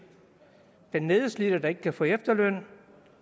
den nedslidte der ikke kan få efterløn